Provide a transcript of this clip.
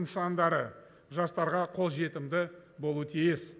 нысандары жастарға қолжетімді болуы тиіс